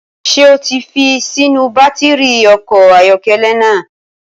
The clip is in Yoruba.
Ṣé o ti fi sínú bátìrì ọkọ̀ ayọ́kẹ́lẹ́ náà?